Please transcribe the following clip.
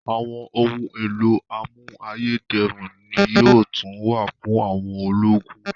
Àwọn ohun èlò amú ayé dẹrùn ni yóò tún wà fún àwọn ológun